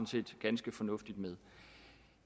set ganske fornuftigt med